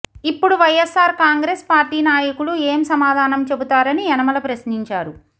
ఇప్పుడు వైయస్సార్ కాంగ్రెస్ పార్టీ నాయకులు ఏం సమాధానం చెబుతారని యనమల ప్రశ్నించారు